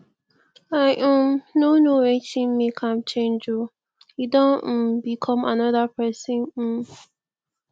i um no know wetin make am change oo e don um become another person um